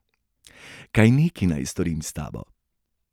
Kaj neki naj storim s tabo?